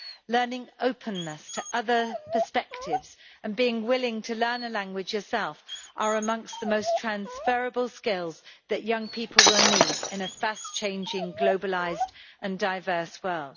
Learning openness to other perspectives and being willing to learn a language yourself are amongst the most transferable skills that young people will need in a fast changing globalised and diverse world.